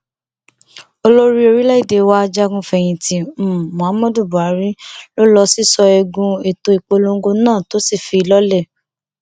olórí orílẹ èdè wa ajagun fẹyìntì um muhammadu buhari ló lọ sísọ eegun um ètò ìpolongo náà tó sì fi í lọlẹ